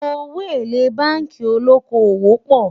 owó élè bánkì olókó owó pò